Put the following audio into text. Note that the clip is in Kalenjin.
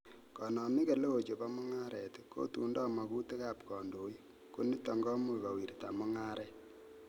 Konomik eleo chebo mung'aret, kotundoi mogutikab kondoik, ko niton komuch kowirta mung'aret.